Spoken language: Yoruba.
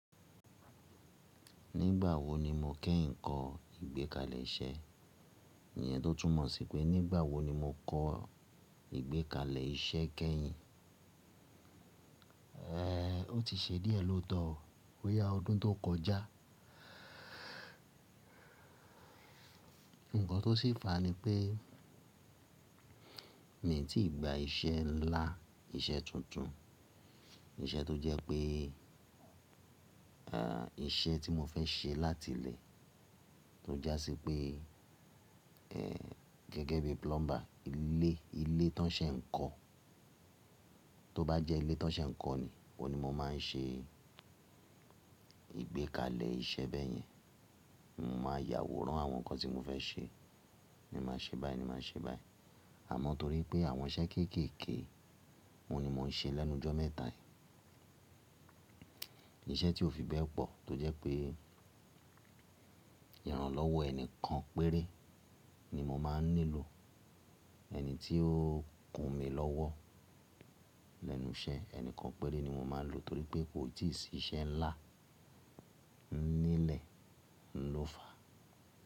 Nígbà wo ni mo kẹ́yìn kọ ìgbékalẹ̀ iṣẹ́? Iyen tó túmọ̀ sí pé nígbà wo ni mo kọ ìgbékalẹ̀ iṣẹ́ kẹ́yìn? Eéh, ó ti ṣe díẹ̀ lóòótọ́, bo yá ọdún tó kọjá. Ǹkan tó sì fà á ni pé mi ò tíì gba iṣẹ́ ńlá, iṣẹ́ tuntun, iṣẹ́ tó jẹ́ pé, eéh, iṣẹ́ tí mo fẹ́ ṣe láti ilé tó jásí pé, eéh, gẹ́gẹ́ bí plumber. Ilé, ilé tí wọ́n ṣe ń kọ́, tó bá jẹ́ ilé tí wọ́n ṣe ń kọ́ ni, ó ni mo máa ń ṣe ìgbékalẹ̀ iṣẹ́ bẹ́yẹn. Mo máa yàwòrán àwọn nǹkan tí mo fẹ́ ṣe. Ni màá ṣe báyìí, ni màá ṣe báyìí. Àmọ́ torí pé àwọn iṣẹ́ kéékèèké, òun ni mo ń ṣe lẹ́nu jọ́ mẹ́ta yìí. Iṣẹ́ tí ó fi bẹ́ẹ̀ pọ̀ tó jẹ́ pé ìrànlọ́wọ́ ẹni kan péré ni mo máa ń nílò. Ẹni tí ó kun mí lọ́wọ́ lẹ́nu iṣẹ́, ẹni kan péré ni mo máa ń lò torí pé kò tíì sí iṣẹ́ ńlá nílẹ̀ ló fà á.